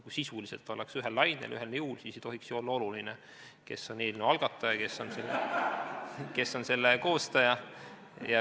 Kui sisuliselt ollakse ühel lainel, ühel nõul, siis ei tohiks ju olla oluline, kes on eelnõu algataja, kes on selle koostaja.